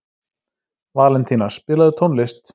Valentína, spilaðu tónlist.